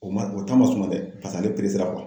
O man o man sɔn dɛ paseke ale